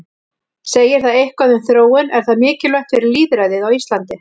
Segir það eitthvað um þróun, er það mikilvægt fyrir lýðræðið á Íslandi?